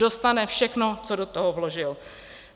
Dostane všechno, co do toho vložil.